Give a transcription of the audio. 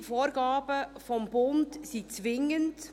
Viele Vorgaben des Bundes sind zwingend.